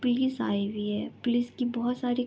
police आई हुई हे पुलिस की बोहोत सारी --